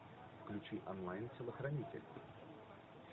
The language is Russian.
включи онлайн телохранитель